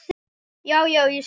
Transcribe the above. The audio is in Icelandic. Já, já. ég sé það.